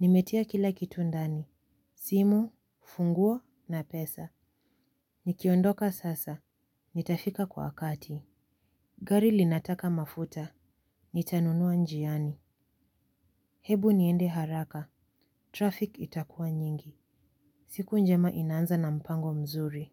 Nimetia kila kitu ndani. Simu, funguo na pesa. Nikiondoka sasa. Nitafika kwa wakati. Gari linataka mafuta. Nitanunua njiani. Hebu niende haraka. Traffic itakuwa nyingi. Siku njema inaanza na mpango mzuri.